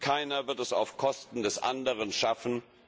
Keiner wird es auf Kosten des anderen schaffen.